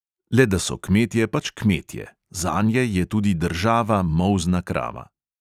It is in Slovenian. Le da so kmetje pač kmetje: zanje je tudi država molzna krava.